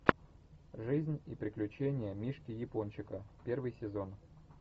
жизнь и приключения мишки япончика первый сезон